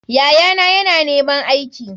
Yayana yana neman aiki.